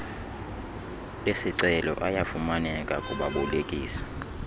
esicelo ayafumaneka kubabolekisi